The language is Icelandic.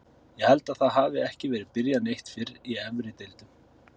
Ég held að það hafi ekki verið byrjað neitt fyrr í efri deildum.